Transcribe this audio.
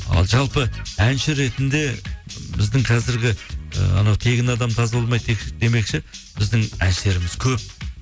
ал жалпы әнші ретінде біздің қазіргі і анау тегін адам тазаламайды демекші біздің әншілеріміз көп